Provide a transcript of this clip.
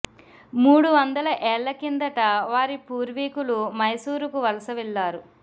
మూడు వందల ఏళ్ల కిందట వారి పూర్వీకులు మైసూరుకు వలస వెళ్లారు